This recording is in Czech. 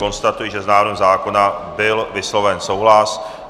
Konstatuji, že s návrhem zákona byl vysloven souhlas.